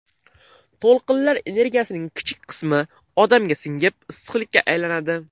To‘lqinlar energiyasining kichik qismi odamga singib, issiqlikka aylanadi.